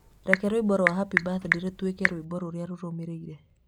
Reke rwĩmbo rwa happy birthday rũtuĩke rwĩmbo rũrĩa rũrũmĩrĩire